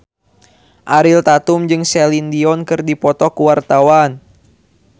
Ariel Tatum jeung Celine Dion keur dipoto ku wartawan